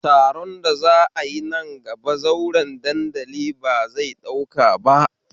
Taron da za'a yi nan gaba, zauren dandali ba zai ɗauka ba